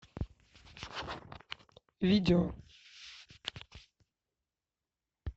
видео